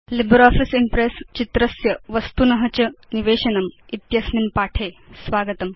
LibreOffice Impress चित्रस्य वस्तुन च निवेशनम् इत्यस्मिन् पाठे स्वागतम्